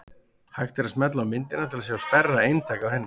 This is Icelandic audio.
Hægt er að smella á myndina til að sjá stærra eintak af henni.